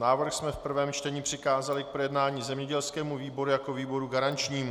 Návrh jsme v prvém čtení přikázali k projednání zemědělskému výboru jako výboru garančnímu.